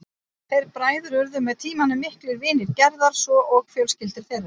Þeir bræður urðu með tímanum miklir vinir Gerðar svo og fjölskyldur þeirra.